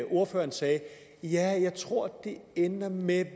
ordføreren sagde ja jeg tror det ender med